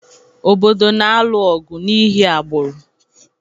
obodo na-alụ ọgụ n’ihi agbụrụ